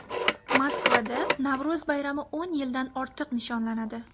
Moskvada Navro‘z bayrami o‘n yildan ortiq nishonlanadi.